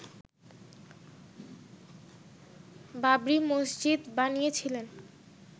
বাবরি মসজিদ বানিয়েছিলেন